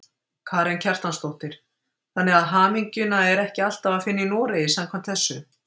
Karen Kjartansdóttir: Þannig að hamingjuna er ekki alltaf að finna í Noregi samkvæmt þessu?